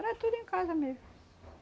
Era tudo em casa mesmo.